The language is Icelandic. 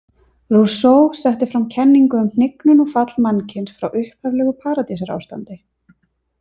Rousseau setti fram kenningu um hnignun og fall mannkyns frá upphaflegu paradísarástandi.